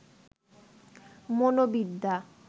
মনোবিদ্যা